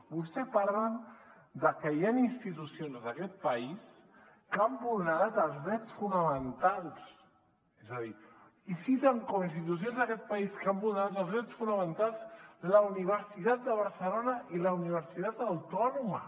vostè parla de que hi han institucions d’aquest país que han vulnerat els drets fonamentals i citen com a institucions d’aquest país que han vulnerat els drets fonamentals la universitat de barcelona i la universitat autònoma